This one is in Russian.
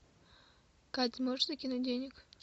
кать можешь закинуть денег